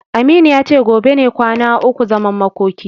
Aminu ya ce gobe ne kwana ukun zaman makoki.